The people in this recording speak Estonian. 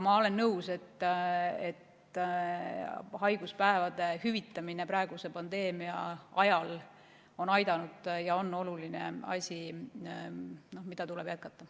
Ma olen nõus, et haiguspäevade hüvitamine praeguse pandeemia ajal on aidanud ja on oluline asi, mida tuleb jätkata.